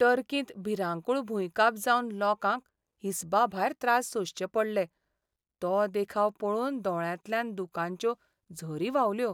टर्किंत भिरांकूळ भुंयकांप जावन लोकांक हिसबा भायर त्रास सोंसचे पडले तो देखाव पळोवन दोळ्यांतल्यान दुकांच्यो झरी व्हांवल्यो.